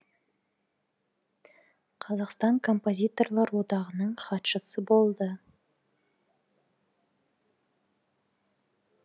қазақстан композиторлар одағының хатшысы болды